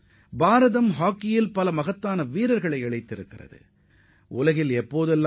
ஏராளமான சிறந்த ஹாக்கி வீரர்களையும் இந்தியா உருவாக்கியுள்ளது